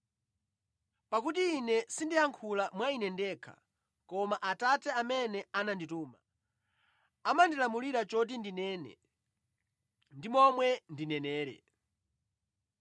Pakuti Ine sindiyankhula mwa Ine ndekha, koma Atate amene anandituma amandilamulira choti ndinene ndi momwe ndinenere.